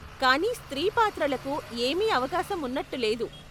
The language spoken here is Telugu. కానీ స్త్రీ పాత్రలకు ఏమీ అవకాశం ఉన్నట్టు లేదు.